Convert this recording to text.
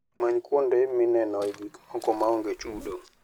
Many kuonde minenoe gik moko maonge chudo.